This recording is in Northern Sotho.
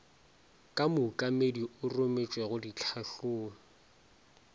ka mookamedi o rometšwe ditlhahlong